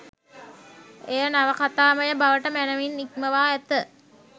එය නවකතාමය බවට මැනවින් හික්මවා ඇත